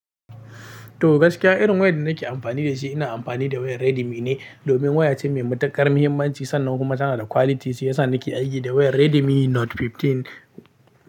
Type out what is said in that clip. To gaskiya irin wayar da nake amfani da shi ina amfani da wayar Redmi ne domin waya ce mai matuƙar muhimmanci sannan kuma tana da quality shi yasa nake aiki da wayar Redmi Note 15.